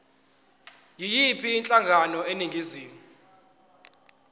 yiyiphi inhlangano eningizimu